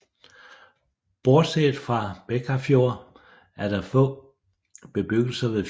Bortset fra Bekkarfjord er der få bebyggelser ved fjorden